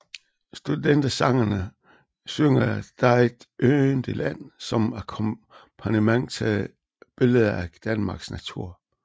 Studentersangerne synger Der er et yndigt land som akkompagnement til billeder af Danmarks natur